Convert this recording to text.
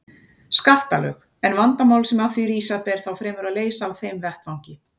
skattalög, en vandamál sem af því rísa ber þá fremur að leysa á þeim vettvangi.